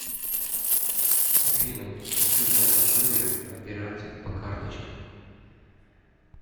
афина хочу знать историю операций по карточкам